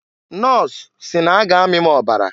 Nọs si n'a ga amị m ọbara.